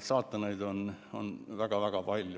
saatanaid on kõiges selles väga-väga palju.